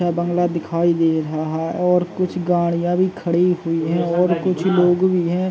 यह बंगला दिखाई दे रहा है और कुछ गाड़िया भी खड़ी हुई है और कुछ लोग भी हैं।